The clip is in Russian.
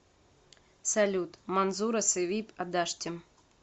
салют манзура севиб адаштим